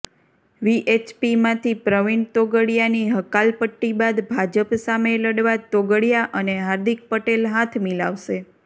વીએચપીમાંથી પ્રવિણ તોગડિયાની હકાલપટ્ટી બાદ ભાજપ સામે લડવા તોગડિયા અને હાર્દિક પટેલ હાથ મિલાવશે